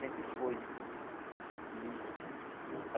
Sempre foi, né? E